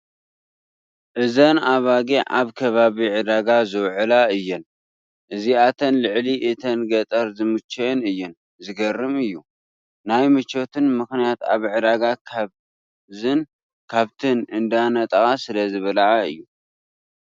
እዘን ኣባጊዕ ኣብ ከባቢ ዕዳጋ ዝውዕላ እየን፡፡ እዚኣተን ልዕሊ እተን ገጠር ዝመቸወን እየን፡፡ ዝገርም እዩ፡፡ ናይ ምቾተን ምኽንያት ኣብ ዕዳጋ ካብዝን ካብትን እንዳነጠቓ ስለዝበልዓ እዩ፡፡